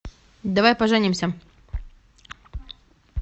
давай поженимся